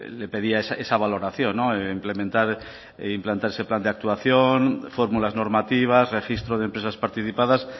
le pedía esa valoración implementar e implantar ese plan de actuación fórmulas normativas registro de empresas participadas